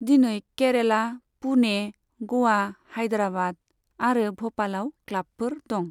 दिनै केरेला, पुणे, ग'वा, हायद्राबाद आरो भ'पालाव क्लाबफोर दं।